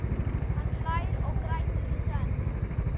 Hann hlær og grætur í senn.